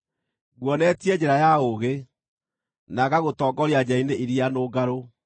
Nguonetie njĩra ya ũũgĩ, na ngagũtongoria njĩra-inĩ iria nũngarũ.